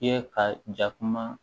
I ye ka ja kuma